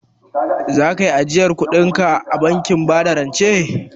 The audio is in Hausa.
Za kayi ajiyar kudinka a bankin bada rance?